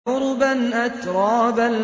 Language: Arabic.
عُرُبًا أَتْرَابًا